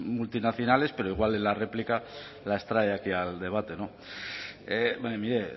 multinacionales pero igual en la réplica las trae aquí al debate mire